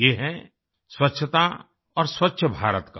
ये है स्वच्छता और स्वच्छ भारत का